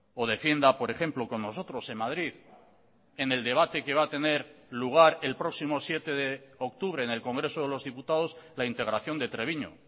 o defienda por ejemplo con nosotros en madrid en el debate que va a tener lugar el próximo siete de octubre en el congreso de los diputados la integración de treviño